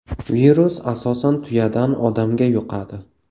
Virus asosan tuyadan odamga yuqadi.